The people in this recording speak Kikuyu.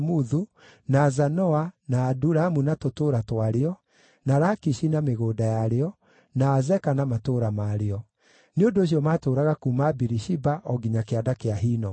na Zanoa, na Adulamu na tũtũũra twarĩo, na Lakishi na mĩgũnda ya rĩo, na Azeka na matũũra marĩo. Nĩ ũndũ ũcio maatũũraga kuuma Birishiba o nginya Kĩanda kĩa Hinomu.